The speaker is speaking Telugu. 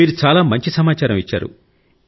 మీరు చాలా మంచి సమాచారం ఇచ్చారు